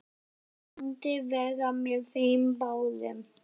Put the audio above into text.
Ég myndi vera með þeim báðum!